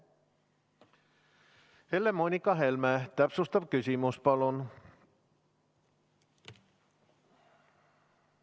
Helle-Moonika Helme, täpsustav küsimus, palun!